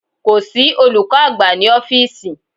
Kò sí olùkọ́ àgbà ní ọ́fíísì.